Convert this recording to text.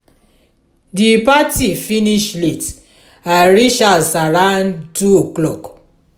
di party finish late i reach house around 2 o'clock.